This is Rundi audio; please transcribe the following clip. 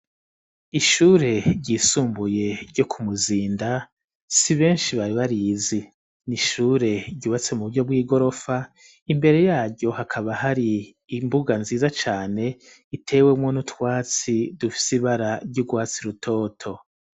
Ishure ryisumbuye ryo ku Muzinda, si benshi bari barizi. Ni ishure ryubatse mu buryo bw'igorofa, imbere yaryo hakaba hari imbuga nziza cane itewemwo n'utwatsi dufise ibara ry'urwatsi rutoto.